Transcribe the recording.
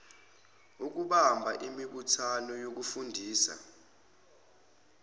ukubamba imibuthano yokufundisa